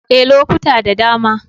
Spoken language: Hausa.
Ee, lokuta da dama.